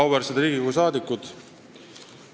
Auväärsed Riigikogu liikmed!